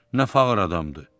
Nə fağır adamdır.